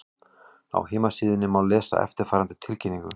Á heimasíðunni má lesa eftirfarandi tilkynningu